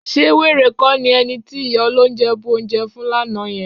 Ṣé wèrè kọ́ ni ẹni tí ìyá olóunjẹ bu oúnjẹ fún lánàá yẹn?